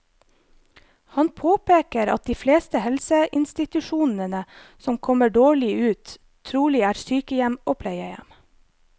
Han påpeker at de fleste helseinstitusjonene som kommer dårlig ut, trolig er sykehjem og pleiehjem.